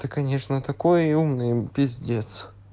ты конечно такой умный пиздец